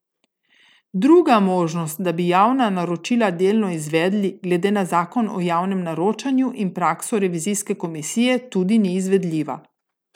Druga možnost, da bi javna naročila delno izvedli, glede na zakon o javnem naročanju in prakso revizijske komisije tudi ni izvedljiva.